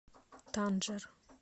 танжер